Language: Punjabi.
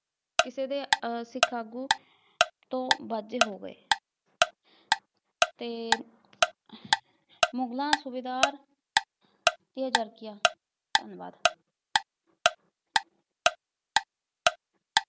ਕਿਸੇ ਦੇ ਅਹ ਸਿੱਖ ਆਗੂ ਤੋਂ ਵਾਂਝੇ ਹੋ ਗਏ। ਅਤੇ ਮੁਗਲਾਂ ਸੂਬੇਦਾਰ ਪਿਆ ਜਾਗਿਆ, ਧੰਨਵਾਦ।